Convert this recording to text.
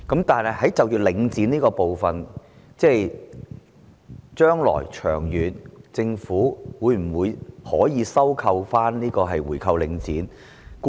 但是，就領展這部分，將來長遠而言，政府會否、能否回購領展的物業？